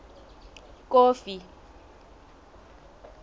kofi